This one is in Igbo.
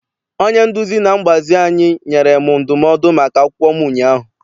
Onye nduzi na mgbazi anyị nyere m ndụmọdụ maka akwụkwọ m ụnyaahụ.